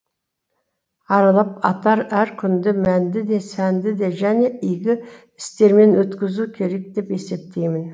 аралап атар әр күнді мәнді де сәнді де және игі істермен өткізу керек деп есептеймін